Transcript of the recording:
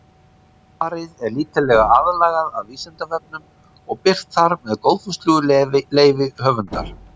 Svarið er lítillega aðlagað að Vísindavefnum og birt þar með góðfúslegu leyfi höfundar.